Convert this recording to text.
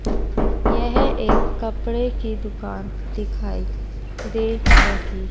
यह एक कपड़े की दुकान दिखाइ दे रही--